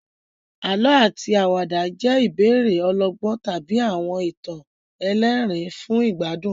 Àlọ́ àti àwàdà jẹ́ ìbéèrè ọlọ́gbọ́n tàbí àwọn ìtàn ẹlẹ́rìn-ín fún ìgbádùn.